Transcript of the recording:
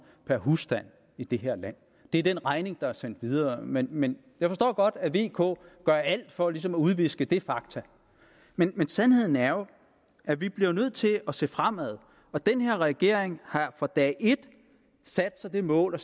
per husstand i det her land det er den regning der er sendt videre men men jeg forstår godt at vk gør alt for ligesom at udviske det faktum men sandheden er jo at vi bliver nødt til at se fremad og den her regering har fra dag et sat sig det mål at